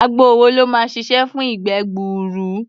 Àgbo wo ló máa ṣiṣẹ́ fún ìgbẹ́ gbuuru?